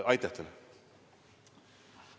Aitäh teile!